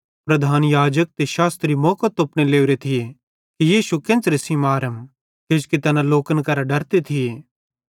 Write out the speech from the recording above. प्रधान याजक ते शास्त्री मौको तोपने लोरे थिये कि यीशु केन्च़रे मारम किजोकि तैना लोकन करां डरते थिये